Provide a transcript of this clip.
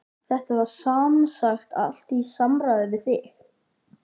Þetta var semsagt allt í samráði við þig?